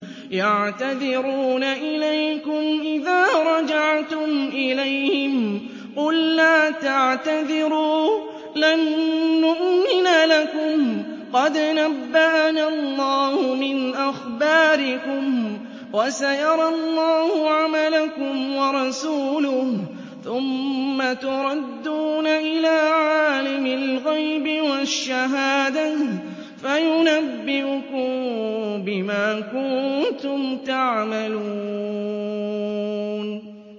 يَعْتَذِرُونَ إِلَيْكُمْ إِذَا رَجَعْتُمْ إِلَيْهِمْ ۚ قُل لَّا تَعْتَذِرُوا لَن نُّؤْمِنَ لَكُمْ قَدْ نَبَّأَنَا اللَّهُ مِنْ أَخْبَارِكُمْ ۚ وَسَيَرَى اللَّهُ عَمَلَكُمْ وَرَسُولُهُ ثُمَّ تُرَدُّونَ إِلَىٰ عَالِمِ الْغَيْبِ وَالشَّهَادَةِ فَيُنَبِّئُكُم بِمَا كُنتُمْ تَعْمَلُونَ